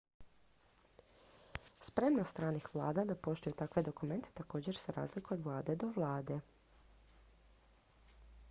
spremnost stranih vlada da poštuju takve dokumente također se razlikuje od vlade do vlade